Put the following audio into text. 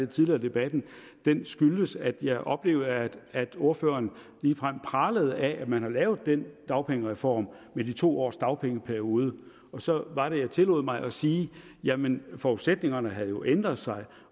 tidligere i debatten skyldes at jeg oplevede at at ordføreren ligefrem pralede af at man har lavet den dagpengereform med de to års dagpengeperiode og så var det jeg tillod mig at sige jamen forudsætningerne havde jo ændret sig